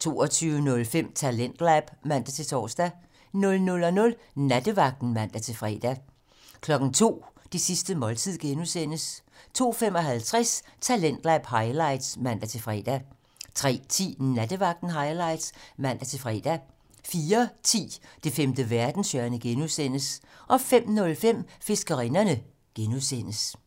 22:05: Talentlab (man-tor) 00:00: Nattevagten (man-fre) 02:00: Det sidste måltid (G) 02:55: Talentlab highlights (man-fre) 03:10: Nattevagten Highlights (man-fre) 04:10: Det femte verdenshjørne (G) 05:05: Fiskerinderne (G)